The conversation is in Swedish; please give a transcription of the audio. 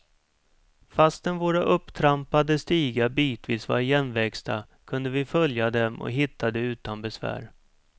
Fastän våra upptrampade stigar bitvis var igenväxta kunde vi följa dem och hittade utan besvär.